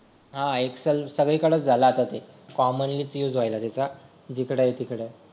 हा एक्सेल सगळीकडेच झाला आता ते कॉमनली युज व्हायला त्याचा जिकडं आहे तिकडं